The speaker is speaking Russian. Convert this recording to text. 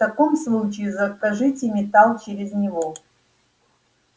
в таком случае закажите металл через него